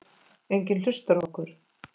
Enginn hlusta á okkur.